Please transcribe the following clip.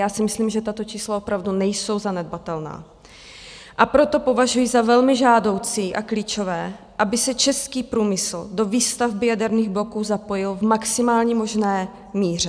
Já si myslím, že tato čísla opravdu nejsou zanedbatelná, a proto považuji za velmi žádoucí a klíčové, aby se český průmysl do výstavby jaderných bloků zapojil v maximálně možné míře.